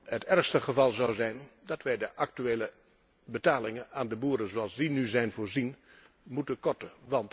Het ergste geval zou zijn als wij de actuele betalingen aan de boeren zoals die nu zijn voorzien, moeten korten.